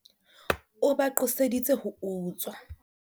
o ba qoseditse ho utswa